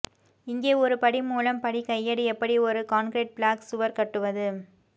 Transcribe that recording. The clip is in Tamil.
இங்கே ஒரு படி மூலம் படி கையேடு எப்படி ஒரு கான்கிரீட் பிளாக் சுவர் கட்டுவது